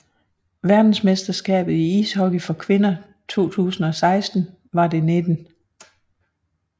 Verdensmesterskabet i ishockey for kvinder 2016 var det 19